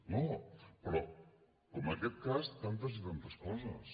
no però com aquest cas tantes i tantes coses